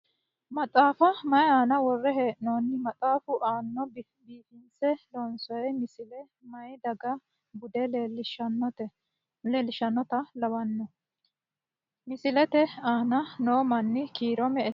Maxaafa mayii aana worre hee'nonni? Maxaafu aana biifinse loonsoyi misile mayii daga bude leellishannota labbawo? Misilete aana noo manni kiiro me"ete?